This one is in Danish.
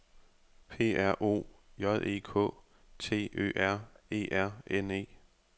P R O J E K T Ø R E R N E